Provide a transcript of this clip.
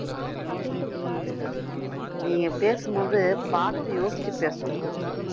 நீ பேசும்போது பாத்து யோசிச்சுப் பேசணும்